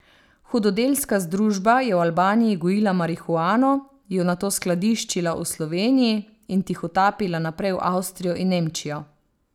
Hudodelska združba je v Albaniji gojila marihuano, jo nato skladiščila v Sloveniji in tihotapila naprej v Avstrijo in Nemčijo.